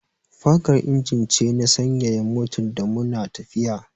Fankar injin ce na sanyaya motar da mu na tafiya